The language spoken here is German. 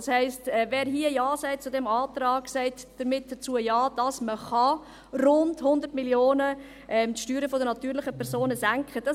Das heisst, wer zu diesem Antrag Ja sagt, sagt damit Ja dazu, dass man die Steuern der natürlichen Personen um rund 100 Mio. Franken senken kann.